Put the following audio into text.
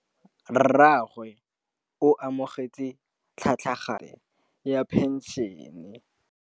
Rragwe o amogetse tlhatlhaganyô ya tšhelête ya phenšene.